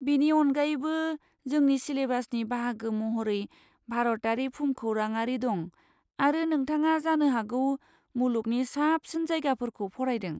बेनि अनगायैबो, जोंनि सिलेबासनि बाहागो महरै भारतारि भुमखौराङारि दं, आरो नोंथाङा जानो हागौ मुलुगनि साबसिन जायगाफोरखौ फरायदों।